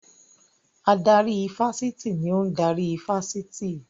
Adarí ifásitì ni ò ń darí ifásitì